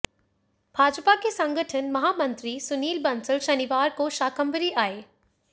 भाजपा के संगठन महामंत्री सुनील बंसल शनिवार को शाकंभरी आए